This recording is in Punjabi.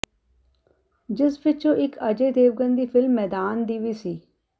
ਜਿਸ ਵਿਚੋਂ ਇਕ ਅਜੈ ਦੇਵਗਨ ਦੀ ਫਿਲਮ ਮੈਦਾਨ ਦੀ ਵੀ ਸੀ